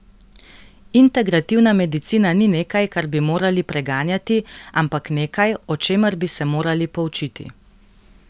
Integrativna medicina ni nekaj, kar bi morali preganjati, ampak nekaj, o čemer bi se morali poučiti.